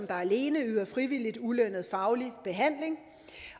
der alene yder frivilligt ulønnet faglig behandling